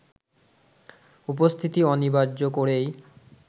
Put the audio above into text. উপস্থিতি অনিবার্য করেই